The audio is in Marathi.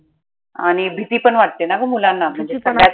आनि भिती पन वाटत ना ग मुलांना